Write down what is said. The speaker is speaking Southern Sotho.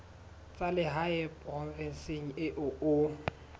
tsa lehae provinseng eo o